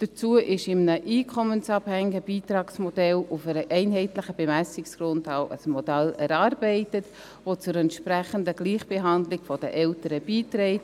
Dazu wurde in einem einkommensabhängigen Beitragsmodell auf einer einheitlichen Bemessungsgrundlage ein Modell erarbeitet, welches zur entsprechenden Gleichbehandlung der Eltern beiträgt.